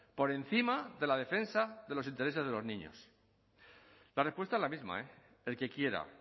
por encima de la defensa de los intereses de los niños la respuesta es la misma eh el que quiera